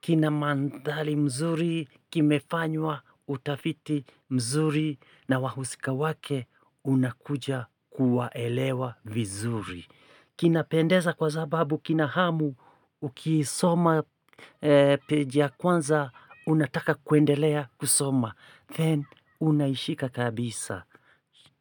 kina mandhari mzuri kimefanywa utafiti mzuri na wahusika wake unakuja kuwaelewa vizuri. Kinapendeza kwa sababu kina hamu, ukisoma page ya kwanza unataka kuendelea kusoma, then unaishika kabisa.